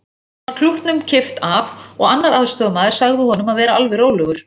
Síðan var klútnum kippt af og annar aðstoðamaður sagði honum að vera alveg rólegur.